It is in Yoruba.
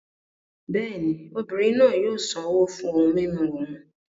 Bẹ́ẹ̀ ni, obìnrin náà yóò san owó fún ohun mímu òún.